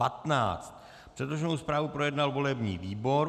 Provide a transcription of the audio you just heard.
Předloženou zprávu projednal volební výbor.